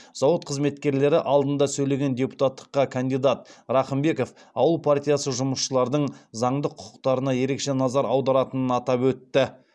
зауыт қызметкерлері алдында сөйлеген депутаттыққа кандидат рахымбеков ауыл партиясы жұмысшылардың заңды құқықтарына ерекше назар аударатынын атап өтті